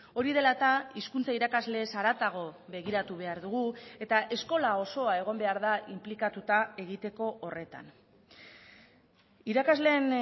hori dela eta hizkuntza irakasleez haratago begiratu behar dugu eta eskola osoa egon behar da inplikatuta egiteko horretan irakasleen